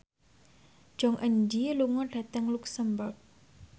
Jong Eun Ji lunga dhateng luxemburg